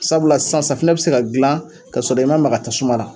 Sabula san safunɛ bi se ka dilan kasɔrɔ i ma maga tasuma na.